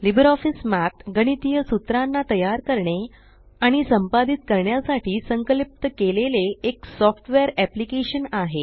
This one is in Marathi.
लिबर ऑफीस मठ गणितीय सूत्राना तयार करणे आणि संपादित करण्यासाठी संकल्पित केलेले एक सॉफ्टवेअर एप्लिकेशन आहे